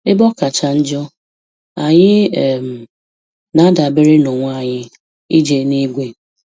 Ebe ọ kacha njọ, anyị um na-adabere n'onwe anyị ije eluigwe